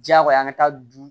Diyagoya an ka taa du